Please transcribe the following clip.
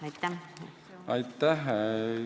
Aitäh!